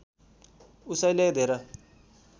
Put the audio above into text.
उसैले धेर